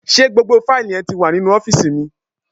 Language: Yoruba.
Ṣé gbogbo fáìlì yẹn ti wà nínú ọ́fìsì mi?